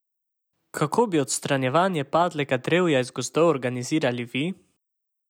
Kako bi odstranjevanje padlega drevja iz gozdov organizirali vi?